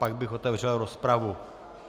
Pak bych otevřel rozpravu.